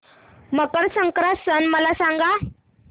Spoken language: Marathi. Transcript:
मकर संक्रांत सण मला सांगा